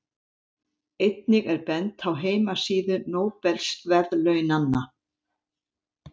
Einnig er bent á heimasíðu Nóbelsverðlaunanna.